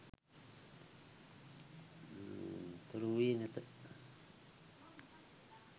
තොරවූයේ නැත.